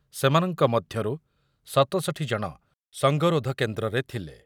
ସେମାନଙ୍କ ମଧ୍ୟରୁ ସତଷଠୀ ଜଣ ସଙ୍ଗରୋଧ କେନ୍ଦ୍ରରେ ଥିଲେ